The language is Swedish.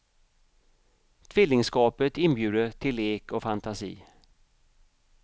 Tvillingskapet inbjuder till lek och fanatisi.